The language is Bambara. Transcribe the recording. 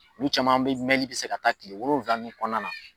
olu caman be mɛnli be se ka taa kile wolonwula nu kɔnɔna na